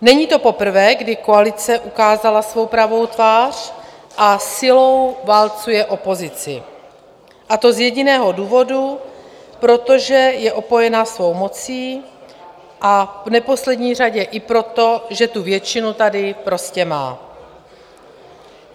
Není to poprvé, kdy koalice ukázala svou pravou tvář a silou válcuje opozici, a to z jediného důvodu, protože je opojena svou mocí, a v neposlední řadě i proto, že tu většinu tady prostě má.